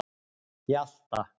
Hjalta